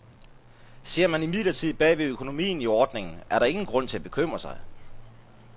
Ser man imidlertid bag ved økonomien i ordningen, er der ingen grund til at bekymre sig.